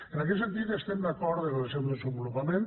en aquest sentit estem d’acord amb el seu desenvolupament